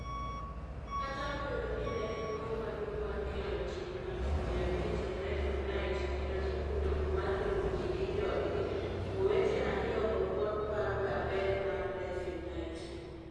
Kata obedo ni ne en mor maduong' mar kelo ji 500,000 e REFUNITE kendo chako wuoth mar riwo ji gi joodgi, owete ariyogi pod paroga ber mar REFUNITE: